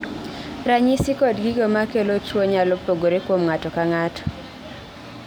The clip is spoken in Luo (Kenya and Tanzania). Ranyisi kod gigo makelo tuo nyalo pogore kuom ng'ato ka ng'ato